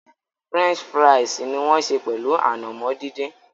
French fíra̩ísí ni wọn ń sẹ pẹlu ànàmọ̀ dídìn.